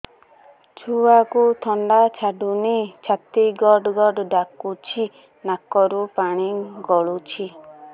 ଛୁଆକୁ ଥଣ୍ଡା ଛାଡୁନି ଛାତି ଗଡ୍ ଗଡ୍ ଡାକୁଚି ନାକରୁ ପାଣି ଗଳୁଚି